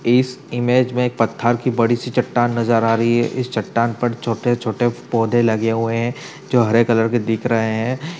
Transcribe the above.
इस इमेज में पत्थर की बड़ी सी चट्टान नज़र आ रही है। इस चट्टान पर छोटे छोटे पौधे लगे हुए हैं जो हरे कलर में दिख रहे हैं।